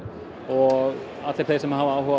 allir þeir sem hafa áhuga á